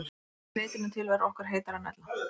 Að því leytinu til verður okkur heitara en ella.